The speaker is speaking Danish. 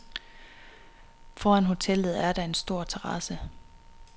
Foran hotellet er der en stor terrasse.